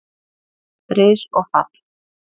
Ris og fall